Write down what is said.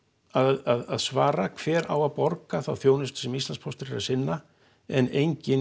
að svara hver á að borga þá þjónustu sem að Íslandspóstur er að sinna en enginn